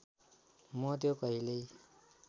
मा त्यो कहिल्यै